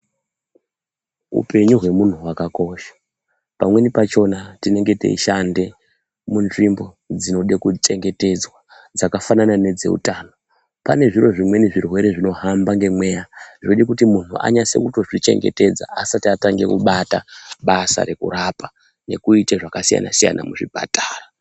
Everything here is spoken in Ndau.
Upenyu hwemunhu hwakakosha pamweni pachona tinenge teishande munzvimbo dzinode kuchengetedzwa dzakafanana nedzeutano. Pane zviro zvimweni zvirwere zvinohambe ngemweya zvinoda kuti munhu anyase kutozvichengetedza asati atange kubata basa rekurapa nekuita zvakasiyana siyana muzvipatara.